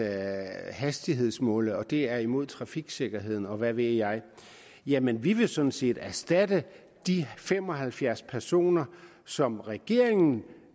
at hastighedsmåle og at det er imod trafiksikkerheden og hvad ved jeg jamen vi vil sådan set erstatte de fem og halvfjerds personer som regeringen